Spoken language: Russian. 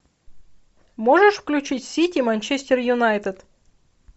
можешь включить сити манчестер юнайтед